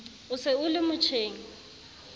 o se o le motjheng